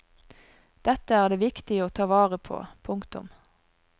Dette er det viktig å ta vare på. punktum